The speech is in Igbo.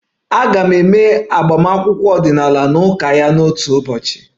A ga-eme agbamakwụkwọ ọdịnala na ụka ya n'otu ụbọchị